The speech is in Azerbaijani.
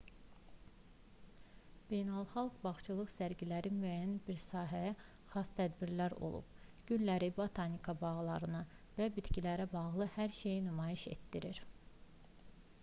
beynəlxalq bağçılıq sərgiləri müəyyən bir sahəyə xas tədbirlər olub gülləri botanika bağlarını və bitkilərlə bağlı hər şeyi nümayiş etdirir